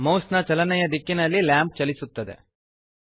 ಮೌಸ್ನ ಚಲನೆಯ ದಿಕ್ಕಿನಲ್ಲಿ ಲ್ಯಾಂಪ್ ಚಲಿಸುತ್ತದೆ